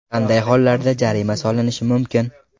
Qanday hollarda jarima solinishi mumkin?